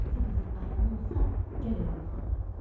Hansı qızın ayağına olsa, gərək onu alam.